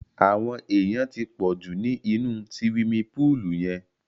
Àwọn èyàn ti pọ̀ jù ni inú siwimi púùlù yẹn.